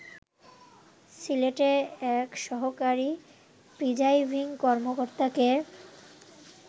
সিলেটে এক সহকারী প্রিজাইডিং কর্মকর্তাকে